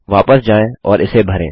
वापस जाएँ और इसे भरें